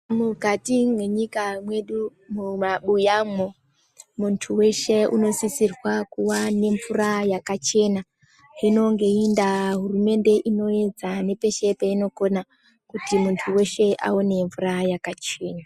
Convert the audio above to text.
Mukati mwenyika mwedu mumabuyamwo muntu veshe unosisirwa kuone mvura yakachena hino, ngeindaa hurumende inoedza nepeshe painokona kuti muntu veshe aone mvura yakachena.